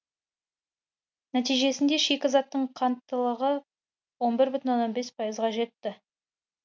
нәтижесінде шикізаттың қанттылығы он бір бүтін оннан бес пайызға жетті